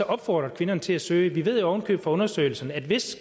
opfordret kvinderne til at søge vi ved jo oven i købet fra undersøgelserne at hvis